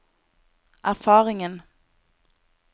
erfaringen